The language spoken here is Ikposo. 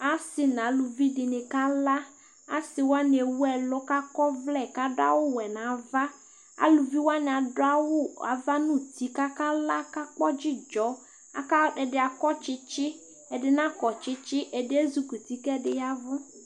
ase n'aluvi dini kala ase wani ɛwu ɛlu k'akɔ ɔvlɛ k'ado awu wɛ n'ava aluvi wani ado awu ava n'uti k'aka la kakpɔ dzidzɔ aka ɛdi akɔ tsitsi ɛdi nakɔ tsitsi ɛdi ezikuti k'ɛdi yavu